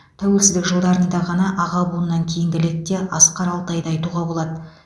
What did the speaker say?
тәуелсіздік жылдарында ғана аға буыннан кейінгі лекте асқар алтайды айтуға болады